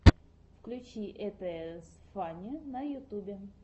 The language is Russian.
включи итс фанне на ютюбе